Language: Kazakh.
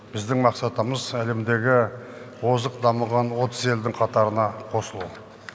біздің мақсатымыз әлемдегі озық дамыған отыз елдің қатарына қосылу